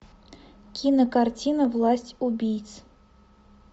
кинокартина власть убийц